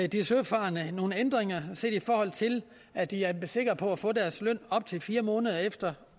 de søfarende nogle ændringer set i forhold til at de er sikre på at få deres løn op til fire måneder efter